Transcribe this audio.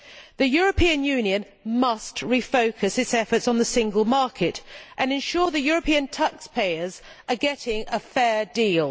The European Union must refocus its efforts on the single market and ensure that EU taxpayers are getting a fair deal.